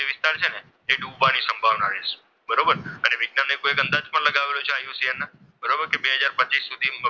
એ ડૂબવાની સંભાવના રહેશે. બરોબર, અને વિજ્ઞાને એક અંદાજ પણ લગાવેલો છે આયુષ્યએલના. બરોબર કે બે હજાર પચીસ સુધી